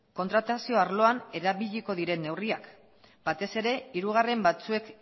kontratazio arloan erabiliko diren neurriak batez ere hirugarren batzuek